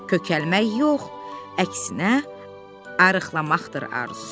Kökəlmək yox, əksinə arıqlamaqdır arzusu.